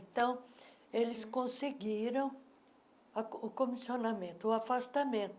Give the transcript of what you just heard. Então, eles conseguiram ah co o comissionamento, o afastamento,